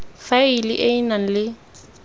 faela e e nang le